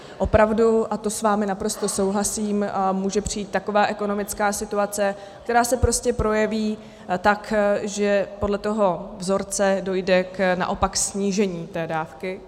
Opravdu, a to s vámi naprosto souhlasím, může přijít taková ekonomická situace, která se prostě projeví tak, že podle toho vzorce dojde naopak ke snížení té dávky.